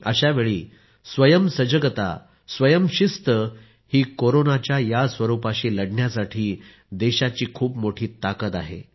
अशावेळीस्वयं सजगता स्वयंशिस्त ही कोरोनाच्या या स्वरूपाशी लढण्यासाठी देशाची खूप मोठी ताकद आहे